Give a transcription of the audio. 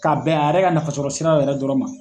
Ka bɛn a yɛrɛ ka nafa sɔrɔ siraw yɛrɛ dɔrɔn ma.